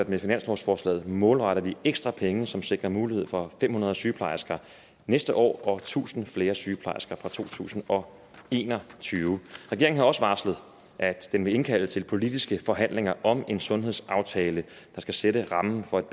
med finanslovsforslaget målretter ekstra penge som sikrer mulighed for fem hundrede sygeplejersker næste år og tusind flere sygeplejersker fra to tusind og en og tyve regeringen har også varslet at den vil indkalde til politiske forhandlinger om en sundhedsaftale der skal sætte rammen for et